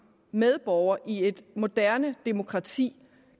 medborger i et moderne demokrati